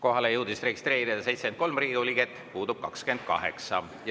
Kohalolijaks jõudis end registreerida 73 Riigikogu liiget, puudub 28.